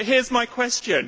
But here is my question.